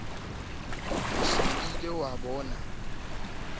o se ke wa e